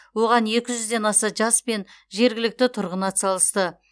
оған екі жүзден аса жас пен жергілікті тұрғын атсалысты